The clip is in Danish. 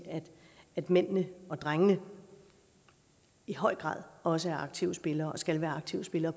at mændene og drengene i høj grad også er aktive spillere og skal være aktive spillere